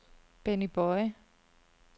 Benny Boye